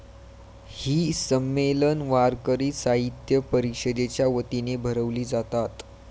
ही संमेलन वारकरी साहित्य परिषदेच्या वतीने भरवली जातात.